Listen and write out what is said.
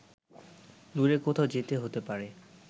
দূরে কোথাও যেতে হতে পারে